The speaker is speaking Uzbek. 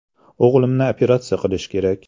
“O‘g‘limni operatsiya qilish kerak.